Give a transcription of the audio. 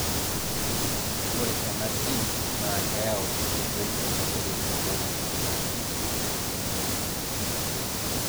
ore ena gene na keyau enkoitoi naitobiri protein najii lipin 2.